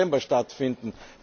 19. Dezember stattfinden.